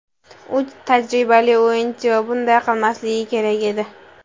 U tajribali o‘yinchi va bunday qilmasligi kerak edi.